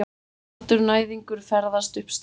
Kaldur næðingur ferðast upp stigann.